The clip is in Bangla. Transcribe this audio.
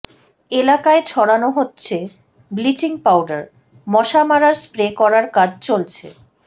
এলাকায় ছড়ানো হচ্ছে ব্লিচিং পাউডার মশা মারার স্প্রে করার কাজ চলছে